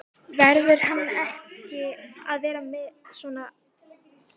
Verður hann ekki að vera með á svona lista?